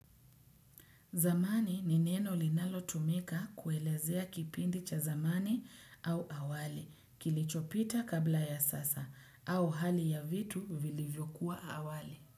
Zamani ni neno linalo tumika kuelezea kipindi cha zamani au awali kilichopita kabla ya sasa au hali ya vitu vilivyokuwa awali.